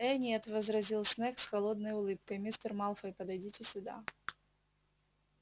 э нет возразил снегг с холодной улыбкой мистер малфой подойдите сюда